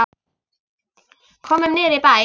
Komum niður í bæ!